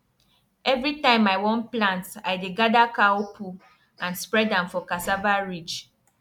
every time i wan plant i dey gather cow poo and spread am for cassava ridge